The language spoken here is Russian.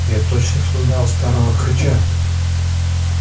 я тотчас узнал старого хрыча